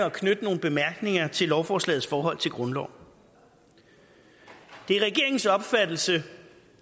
at knytte nogle bemærkninger til lovforslagets forhold til grundloven det er regeringens opfattelse